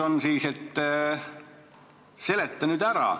" Seleta nüüd ära.